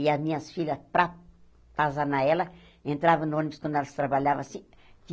E as minhas filhas, para atazanar ela, entravam no ônibus quando elas trabalhavam assim.